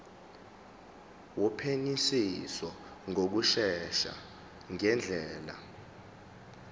wophenyisiso ngokushesha ngendlela